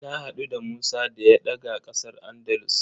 Na haɗu da Musa da ya daga ƙasar Andalus.